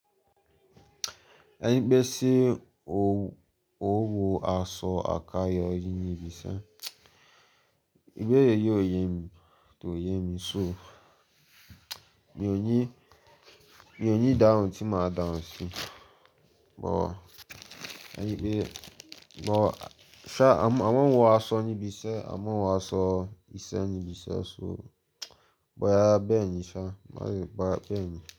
Ẹni pé ṣe ó wọ aṣọ àkayò yí ní ibi iṣẹ́. Gbé èrè yí oyè mi tó oyè mi, so mi ò ní, mi ò ní dáhùn tí màá dáhùn sí. Ṣùgbọ́n ẹni pé, ṣùgbọ́n ṣá a máa ń wọ aṣọ ní ibi iṣẹ́, a máa ń wọ aṣọ iṣẹ́ ní ibi iṣẹ́. Ṣùgbọ́n yára bẹ́ẹ̀ni ṣá, má ṣe gbá bẹ́ẹ̀ni.